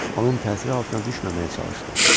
Onun təsiri altına düşməməyə çalışdı.